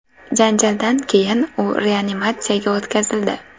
Janjaldan keyin u reanimatsiyaga o‘tkazildi.